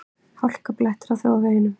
Hálkublettir á þjóðvegum